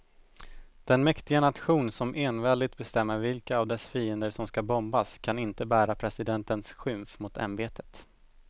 Den mäktiga nation som enväldigt bestämmer vilka av dess fiender som ska bombas kan inte bära presidentens skymf mot ämbetet.